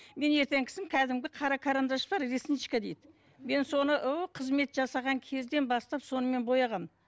мен ертеңгісін кәдімгі қара карандаш бар ресничка дейді мен соны қызмет жасаған кезден бастап сонымен бояғанмын